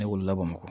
Ne wolo la bamakɔ